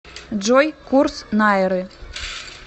джой курс найры